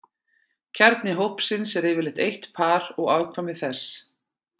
Kjarni hópsins er yfirleitt eitt par og afkvæmi þess.